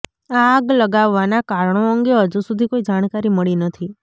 આગ લાગવાના કારણો અંગે હજુ સુધી કોઇ જાણકારી મળી નથી